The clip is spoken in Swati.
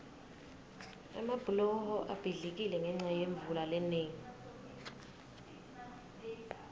emabhuloho abhidlikile ngenca yemvula lenengi